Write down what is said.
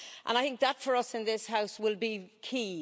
I think that for us in this House will be key.